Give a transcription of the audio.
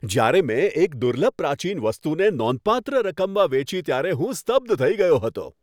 જ્યારે મેં એક દુર્લભ પ્રાચીન વસ્તુને નોંધપાત્ર રકમમાં વેચી ત્યારે હું સ્તબ્ધ થઈ ગયો હતો.